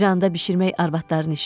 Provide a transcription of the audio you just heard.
İranda bişirmək arvadların işidir.